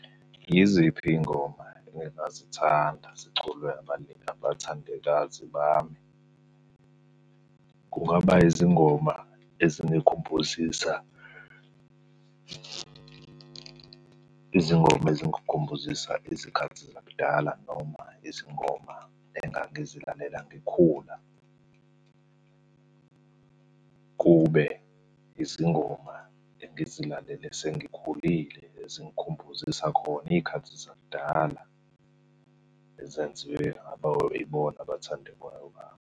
Yiziphi iy'ngoma ebe ngazithanda ziculwe abathandekazi bami? Kungaba yizingoma ezingikhumbuzisa izingoma ezingikhumbuzisa izikhathi zakudala noma izingoma engangizilalela ngikhula, kube izingoma engizilalele sengikhulile. Ezingikhumbuzisa khona iy'khathi zakudala, ezenziwe ibona abathandekayo bami.